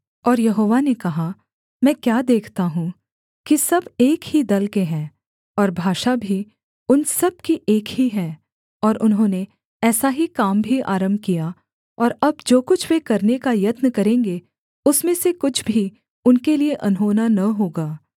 और यहोवा ने कहा मैं क्या देखता हूँ कि सब एक ही दल के हैं और भाषा भी उन सब की एक ही है और उन्होंने ऐसा ही काम भी आरम्भ किया और अब जो कुछ वे करने का यत्न करेंगे उसमें से कुछ भी उनके लिये अनहोना न होगा